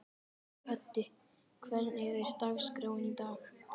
Höddi, hvernig er dagskráin í dag?